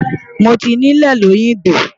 Mo ti nílẹ̀ lóyìngbò.